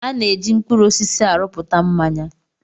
A na-eji mkpụrụ osisi arụpụta mmanya.